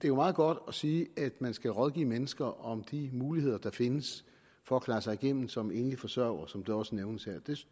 er meget godt at sige at man skal rådgive mennesker om de muligheder der findes for at klare sig igennem som enlig forsørger som det også nævnes her